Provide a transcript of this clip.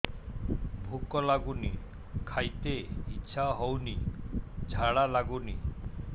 ଭୁକ ଲାଗୁନି ଖାଇତେ ଇଛା ହଉନି ଝାଡ଼ା ଲାଗୁନି